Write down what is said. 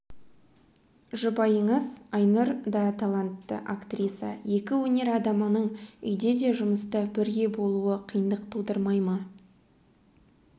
жұбайыңыз айнұр даталантты актриса екі өнер адамының үйде де жұмыста да бірге болуы қиындық тудырмай ма